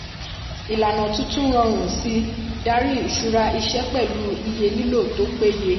ìlànà tuntun rọrùn sí darí ìṣura iṣẹ́ pẹ̀lú iye lílò tó peye.